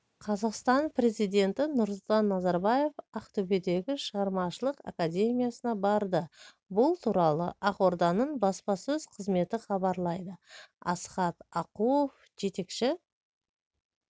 қазақстан президенті нұрсұлтан назарбаевақтөбедегі шығармашылық академиясына барды бұл туралы ақорданың баспасөз қызметі хабарлайды асхат ақуов жетекші